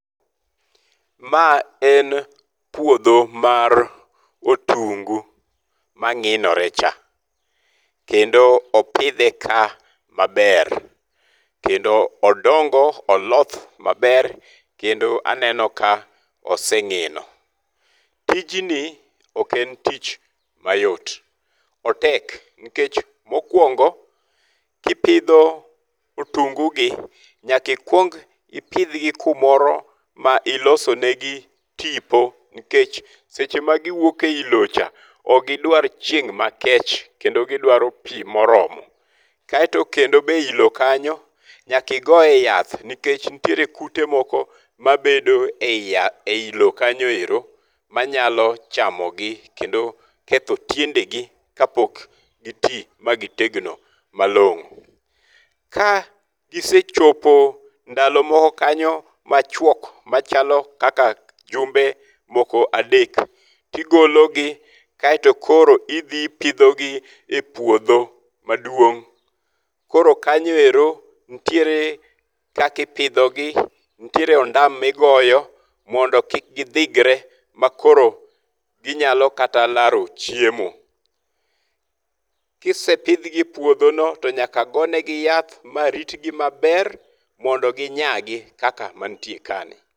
Ma en puodho mar otungu mang'inore cha. Kendo opidhe ka maber kendo odongo, oloth maber. Kendo aneno ka oseng'ino. Tijni ok en tich mayot. Otek. Nikech mokwongo, kipidho otungu gi, nyaka ikwong ipidhgi kumoro ma ilosonegi tipo. Nikech seche ma giwuok eyi lo cha ok gidrar chieng' makech kendo gidwaro pi moromo. Kaeto kendo be iyi lo kanyo nyaka igoe yath nikech nitiere kute moko mabedo eyi lo kanyo ero manyalo chamogi kendo ketho tiende gi kapok gi ti ma gi tegno malong'o. Ka gisechopo ndalo moko kanyo machuok machalo kaka jumbe moko adek tigologi kaeto koro idhi pidhogi e puodho maduong'. Koro kanyoero nitiere kaka ipidhogi. Nitiere ondam migoyo mondo kik gidhigre makoro ginyalo kata laro chiemo. Kisepidhogi e puodhono to nyaka gonegi yath ma ritgi maber mondo ginyagi kaka mantie ka ni.